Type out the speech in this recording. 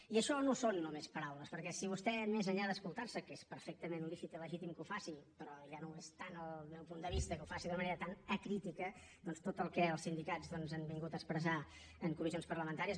i això no són només paraules perquè si vostè més enllà d’escoltar se que és perfectament lícit i legítim que ho faci però ja no ho és tant des del meu punt de vista que ho faci d’una manera tan acrítica tot el que els sindicats han vingut a expressar en comissions parlamentàries